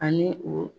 Ani o